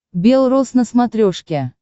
бел рос на смотрешке